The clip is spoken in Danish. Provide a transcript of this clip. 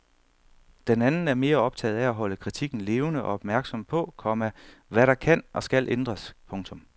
Den anden er mere optaget af at holde kritikken levende og opmærksom på, komma hvad der kan og skal ændres. punktum